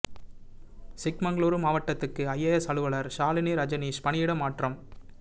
சிக்மகளூரு மாவட்டத்துக்கு ஐஏஎஸ் அலுவலா் ஷாலினி ரஜனீஷ் பணியிட மாற்றம்